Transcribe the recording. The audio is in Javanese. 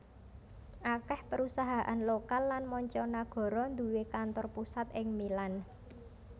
Akèh perusahaan lokal lan mancanagara nduwé kantor pusat ing Milan